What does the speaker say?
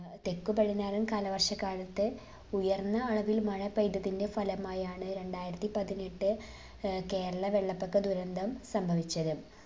ഏർ തെക്കുപടിഞ്ഞാറൻ കാലവർഷക്കാലത്തെ ഉയർന്ന അളവിൽ മഴ പെയ്തതിന്റെ ഫലമായിയാണ് രണ്ടായിരത്തി പതിനെട്ട് ഏർ കേരള വെള്ളപ്പൊക്ക ദുരന്തം സംഭവിച്ചത്.